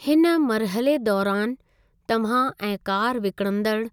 हिन मरिहले दौरानि, तव्हां ऐं कार विकणंदड़ु